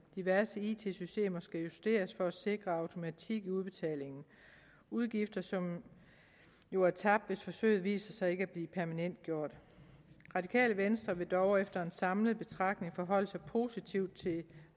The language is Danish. diverse it systemer skal justeres for at sikre automatik i udbetalingen udgifter som jo er tabt hvis forsøget viser sig ikke at blive permanentgjort radikale venstre vil dog efter en samlet betragtning forholde sig positivt til